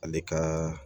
Ale ka